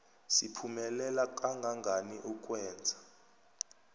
siphumelela kangangani ukwenza